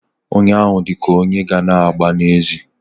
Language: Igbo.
Nwoke ahụ dị ka onye ga-ana agba n'ezi.